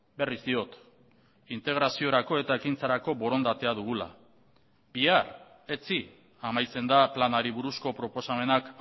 berriz diot integraziorako eta ekintzarako borondatea dugula bihar etsi amaitzen da planari buruzko proposamenak